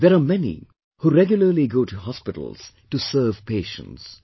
There are many who regularly go to hospitals to serve patients